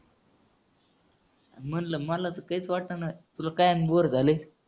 म्हणलं मला तर तेच वाटेना. तुला काय आणि bore झालंय?